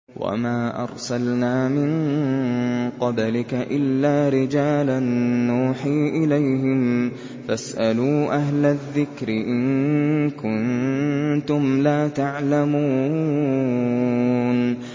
وَمَا أَرْسَلْنَا مِن قَبْلِكَ إِلَّا رِجَالًا نُّوحِي إِلَيْهِمْ ۚ فَاسْأَلُوا أَهْلَ الذِّكْرِ إِن كُنتُمْ لَا تَعْلَمُونَ